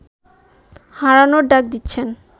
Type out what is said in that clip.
হারানোর ডাক দিচ্ছেন